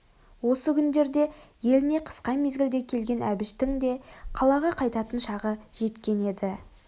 осы күндерде еліне қысқа мезгілде келген әбіштің де қалаға қайтатын шағы жеткен еді